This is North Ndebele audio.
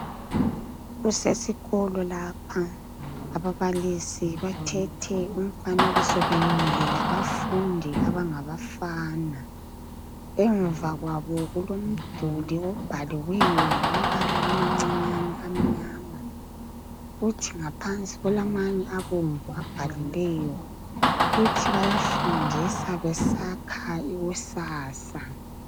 Kusesikolo lapha abababilisi bathethe umfanekiso bemile labafundi abangabafana. Emva kwabo kulomduli obhaliweyo ngamabala amancinyane amnyama. Kuthi ngaphansi kulamanye abomvu abhaliweyo, uthi bayafundisa besakha ikusasa.